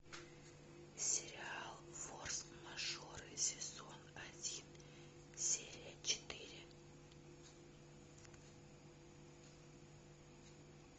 сериал форс мажоры сезон один серия четыре